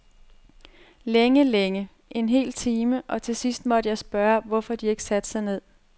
Længe, længe, en hel time, og til sidst måtte jeg spørge dem, hvorfor de ikke satte sig ned.